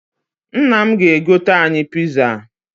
Nna m ga-egoter anyị̣ piza